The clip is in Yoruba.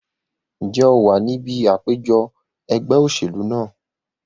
Ǹjẹ́ o wà ní ibi àpèjọ ẹgbẹ́ òṣèlú náà?